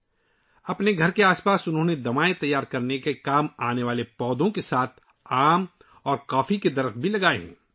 دواؤں کے پودوں کے ساتھ ساتھ ، انہوں نے اپنے گھر کے ارد گرد آم اور کافی کے درخت بھی لگائے ہیں